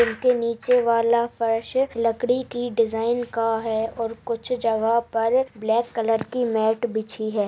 नीचे वाला फर्श लकड़ी की डिजाइन का है और कुछ जगह पर ब्लैक कलर की मैट बिछी है।